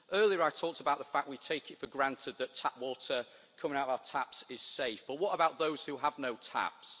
Earlier I talked about the fact that we take it for granted that tap water coming out of our taps is safe but what about those who have no taps?